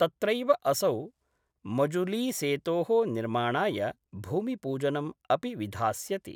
तत्रैव असौ मजुलीसेतो: निर्माणाय भूमिपूजनम् अपि विधास्यति।